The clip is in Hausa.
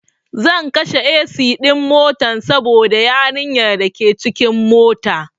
Zan kashe AC ɗin motan saboda yarin yar dake cikin mota